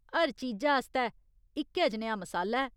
हर चीजा आस्तै इक जनेहा मसाला ऐ।